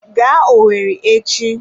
Gaa owerri echi!